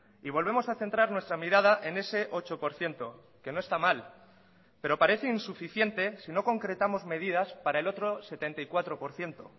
y volvemos a centrar nuestra mirada en ese ocho por ciento que no está mal pero parece insuficiente si no concretamos medidas para el otro setenta y cuatro por ciento